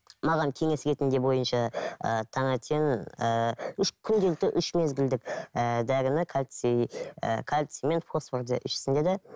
маған кеңес ретінде бойынша ыыы таңертең ііі үш күнделікті үш мезгілдік ііі дәріні кальций і кальций мен фосфорды ішсін деді